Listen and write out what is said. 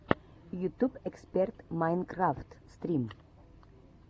ютуб эксперт майнкрафт стрим